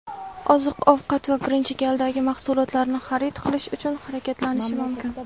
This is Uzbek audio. oziq-ovqat va birinchi galdagi mahsulotlarni xarid qilish uchun harakatlanishi mumkin.